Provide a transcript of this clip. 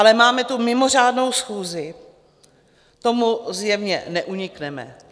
Ale máme tu mimořádnou schůzi, tomu zjevně neunikneme.